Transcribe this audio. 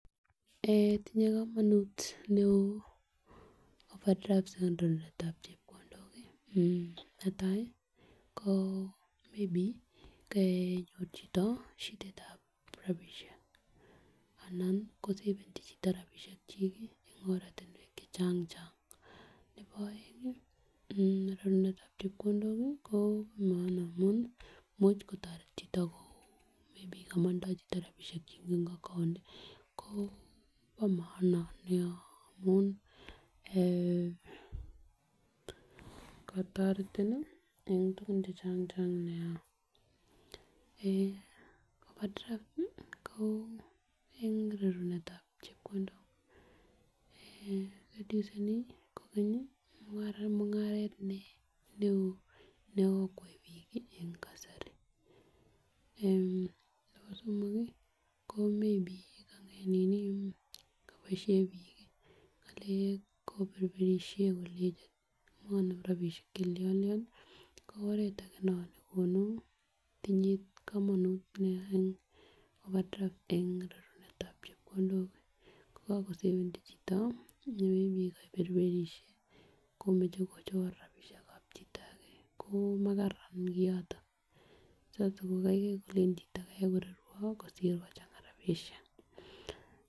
Eh tinye komonut neo overdraft en ngalekab chepkondok eh netai ko maybe konyor chito shidaitab rabishek ana ko seveni chito rabishek chik en oratunwek che chang chang, nebo oengi eh rorunetab chepkondok ko bo maana amun imuch kotoreti chito ko maybe komotindo chito rabishek chemeii en account ko bo maana nia amun eeh kotoretin nii en tukun che chang chang nia. Overdraft ko en rorunetab chepkondok eh reduceni kokeny mungaret neo nekokwai bik en kasari, nebo somok kii ko maybe kiboishen bik ngalek koberberishen kolenchi konem rabishek chelione ko oret age non nenyolu ko tinye komonut nia en overdraft en rorunetab chepkondok ko yon kotewendii chito kobokoberberishe komoche kochor rabishekab chito age ko makara kioto sas ko kaigai kilenji chito marorwo kosir kochanga rabishek.